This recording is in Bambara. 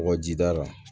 Kɔkɔjida la